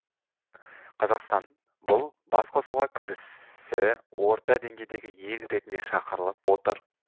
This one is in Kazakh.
қазақстан бұл басқосуға кірісі орта деңгейдегі ел ретінде шақырылып отыр